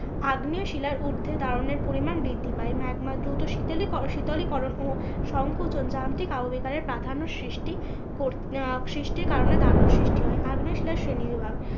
আগ্নেও শিলার উর্ধে দারণের পরিমান বৃদ্ধি পায় ম্যাগমা দ্রুত শীতলই করণ ও সংকোচন যান্ত্রিক আবহবিকারের প্রাধান্য সৃষ্টি আহ সৃষ্টির কারণে দারুন সৃষ্টি হয়। আগ্নেয় শিলার শ্রেণী বিভাগ।